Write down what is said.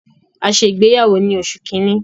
A ṣe ìgbéyàwó ni oṣù kínní.